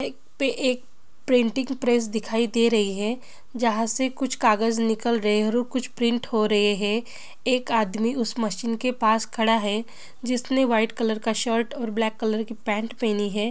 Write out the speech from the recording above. एक पे एक प्रिंटिंग प्रेस दिखाई दे रही है जहाँ से कुछ कागज निकल रहे है और कुछ प्रिंट हो रहे है एक आदमी उस मशीन के पास खड़ा है जिसने वाइट कलर का शर्ट और ब्लैक कलर की पैंट पहनी है।